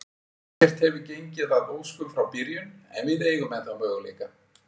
Ekkert hefur gengið að óskum frá byrjun, en við eigum ennþá möguleika.